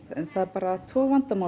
það er bara tvo vandamálin